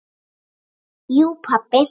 Jú pabbi.